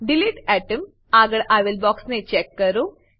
delete atom આગળ આવેલ બોક્સને ચેક કરો